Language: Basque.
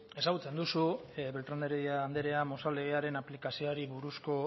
ezagutzen duzu beltrán de hertedia andrea mozal legearen aplikazioaren buruzko